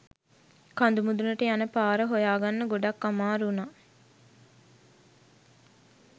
කඳු මුඳුනට යන පාර හොයාගන්න ගොඩක් අමාරු වුනා